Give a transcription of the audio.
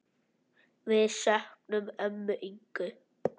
Við söknum ömmu Ingu.